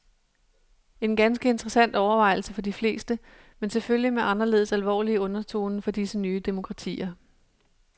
En ganske interessant overvejelse for de fleste, men selvfølgelig med anderledes alvorlige undertoner for disse nye demokratier.